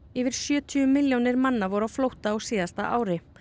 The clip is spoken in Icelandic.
yfir sjötíu milljónir manna voru á flótta á síðasta ári